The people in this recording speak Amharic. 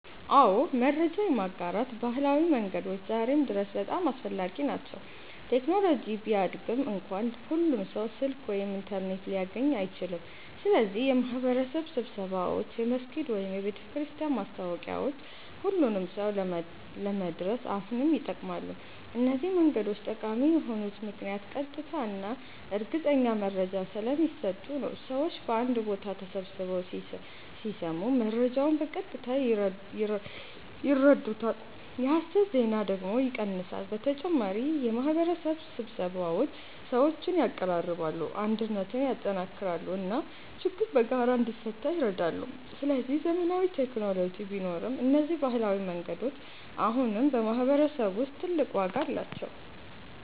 አዎ፣ መረጃ የማጋራት ባህላዊ መንገዶች ዛሬም ድረስ በጣም አስፈላጊ ናቸው። ቴክኖሎጂ ቢያድግም እንኳ ሁሉም ሰው ስልክ ወይም ኢንተርኔት ሊያገኝ አይችልም። ስለዚህ የማህበረሰብ ስብሰባዎች፣ የመስጊድ ወይም የቤተክርስቲያን ማስታወቂያዎች ሁሉንም ሰው ለመድረስ አሁንም ይጠቅማሉ። እነዚህ መንገዶች ጠቃሚ የሆኑት ምክንያት ቀጥታ እና እርግጠኛ መረጃ ስለሚሰጡ ነው። ሰዎች በአንድ ቦታ ተሰብስበው ሲሰሙ መረጃውን በቀጥታ ይረዱታል፣ የሐሰት ዜና ደግሞ ይቀንሳል። በተጨማሪ የማህበረሰብ ስብሰባዎች ሰዎችን ያቀራርባሉ፣ አንድነትን ያጠናክራሉ እና ችግር በጋራ እንዲፈታ ይረዳሉ። ስለዚህ ዘመናዊ ቴክኖሎጂ ቢኖርም እነዚህ ባህላዊ መንገዶች አሁንም በማህበረሰብ ውስጥ ትልቅ ዋጋ አላቸው።